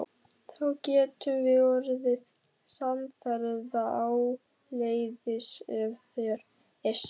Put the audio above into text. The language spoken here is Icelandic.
Þá getum við orðið samferða áleiðis ef þér er sama.